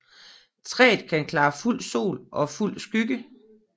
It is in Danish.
Træet kan klare fuld sol og fuld skygge